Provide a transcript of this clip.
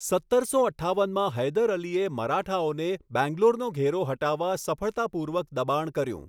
સત્તરસો અઠ્ઠાવનમાં હૈદર અલીએ મરાઠાઓને બેંગ્લોરનો ઘેરો હટાવવા સફળતાપૂર્વક દબાણ કર્યું.